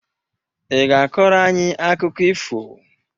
Ị ga-akọrọ anyị akụkọ ifo?